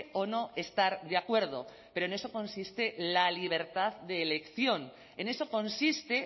o no estar de acuerdo pero en eso consiste la libertad de elección en eso consiste